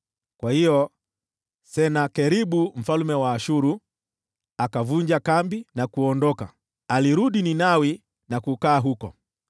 Basi Senakeribu mfalme wa Ashuru akavunja kambi na kuondoka. Akarudi Ninawi na kukaa huko.